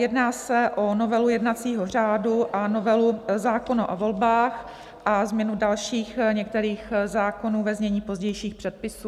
Jedná se o novelu jednacího řádu a novelu zákona o volbách a změnu dalších některých zákonů, ve znění pozdějších předpisů.